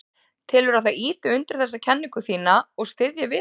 Telurðu að það ýti undir þessa kenningu þína og styðji við hana?